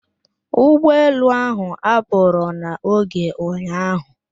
Ụgbọelu ahụ apụrụ n'oge ụnyạahụ?